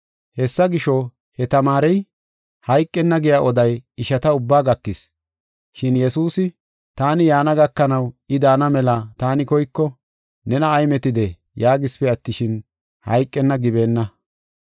Hessa gisho, he tamaarey hayqenna giya oday ishata ubbaa gakis. Shin Yesuusi, “Taani yaana gakanaw, I daana mela taani koyko nena ay metidee?” yaagisipe attishin, “Hayqenna” gibeenna.